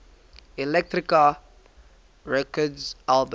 elektra records albums